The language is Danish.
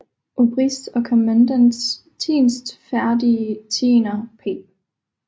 Obriste og Commendants Tienstferdige Tiener P